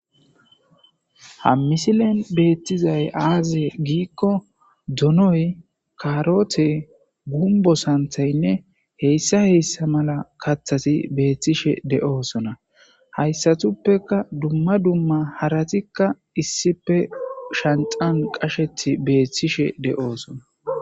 ha misilen beettizay aaze giikko donoy karote gumbo santhaynne heyssa heyssa mala kathasi beethtishe de7oosona hayssatuppeka dumma dumma haratikka issipe shanxan qashethi beettishe de7oosona